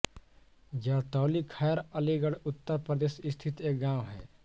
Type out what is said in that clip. जरतौली खैर अलीगढ़ उत्तर प्रदेश स्थित एक गाँव है